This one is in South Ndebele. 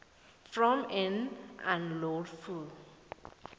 from and unlawful